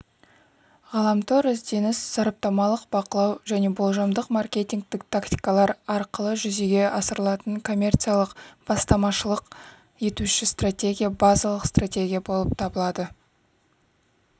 интернет-ізденіс сараптамалық-бақылау және болжамдық-маркетингтік тактикалар арқылы жүзеге асырылатын коммерциялық-бастамашылық етуші стратегия базалық стратегия болып табылады